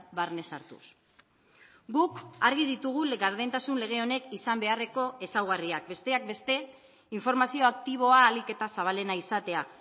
barnez hartuz guk argi ditugu gardentasun lege honek izan beharreko ezaugarriak besteak beste informazio aktiboa ahalik eta zabalena izatea